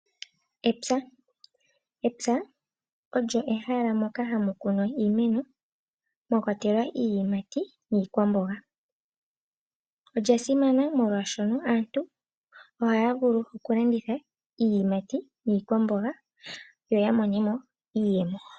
Epya olyo ehala ndyoka hamu kunwa iimeno noshowo iiyimati niikwamboga olya simana omolwashoka aantu ohaya landitha iiyimati niikwamboga opo ya vule ya mone mo iiyemo.